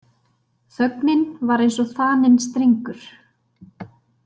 Þögnin var eins og þaninn strengur.